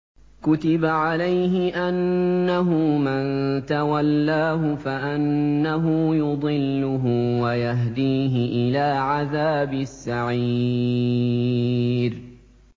كُتِبَ عَلَيْهِ أَنَّهُ مَن تَوَلَّاهُ فَأَنَّهُ يُضِلُّهُ وَيَهْدِيهِ إِلَىٰ عَذَابِ السَّعِيرِ